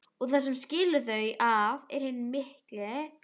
Og það sem skilur þau að er hinn mikli